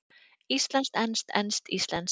Íslenskt-enskt, enskt-íslenskt.